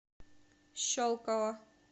щелково